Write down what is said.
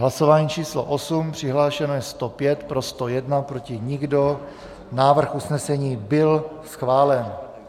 Hlasování číslo 8, přihlášeno je 105, pro 101, proti nikdo, návrh usnesení byl schválen.